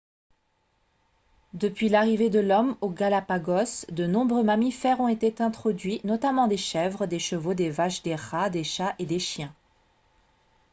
depuis l'arrivée de l'homme aux galapagos de nombreux mammifères ont été introduits notamment des chèvres des chevaux des vaches des rats des chats et des chiens